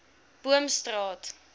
boomstraat